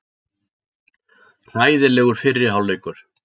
Hræðilegur fyrri hálfleikur